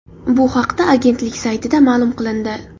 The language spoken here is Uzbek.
Bu haqda agentlik saytida ma’lum qilindi .